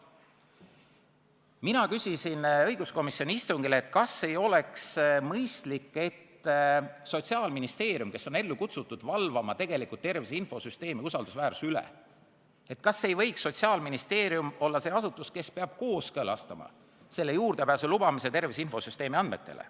Ma küsisin õiguskomisjoni istungil, kas ei oleks mõistlik, et Sotsiaalministeerium, kes on tegelikult ellu kutsutud valvama tervise infosüsteemi usaldusväärsuse üle, ei võiks olla see asutus, kes kooskõlastab juurdepääsu lubamise tervise infosüsteemi andmetele.